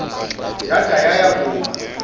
yada yaya kuma